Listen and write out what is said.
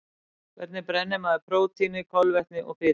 Hvernig brennir maður prótíni, kolvetni og fitu?